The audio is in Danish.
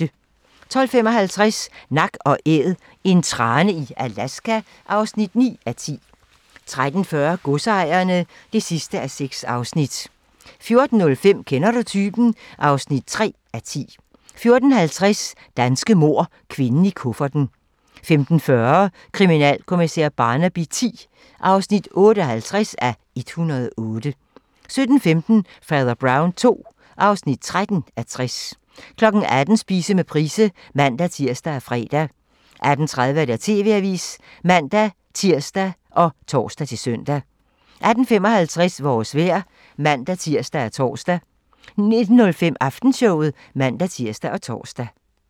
12:55: Nak & Æd - en trane i Alaska (9:10) 13:40: Godsejerne (6:6) 14:05: Kender du typen? (3:10) 14:50: Danske mord - Kvinden i kufferten 15:40: Kriminalkommissær Barnaby X (58:108) 17:15: Fader Brown II (13:60) 18:00: Spise med Price (man-tir og fre) 18:30: TV-avisen (man-tir og tor-søn) 18:55: Vores vejr (man-tir og tor) 19:05: Aftenshowet (man-tir og tor)